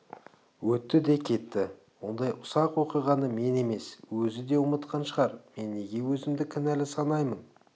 өтті де кетті ондай ұсақ оқиғаны мен емес өзі де ұмытқан шығар мен неге өзімді кінәлі санаймын